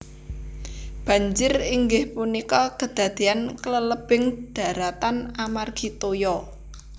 Banjir inggih punika kadadean klelebing daratan amargi toya